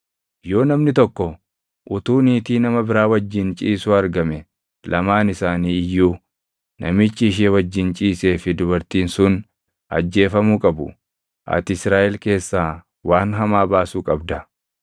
Yoo namni tokko utuu niitii nama biraa wajjin ciisuu argame lamaan isaanii iyyuu, namichi ishee wajjin ciisee fi dubartiin sun ajjeefamuu qabu. Ati Israaʼel keessaa waan hamaa baasuu qabda.